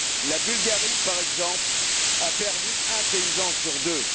La Bulgarie, par exemple, a perdu un paysan sur deux.